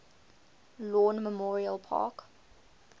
lawn memorial park